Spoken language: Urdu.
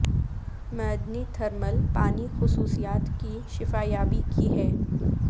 معدنی تھرمل پانی خصوصیات کی شفا یابی کی ہے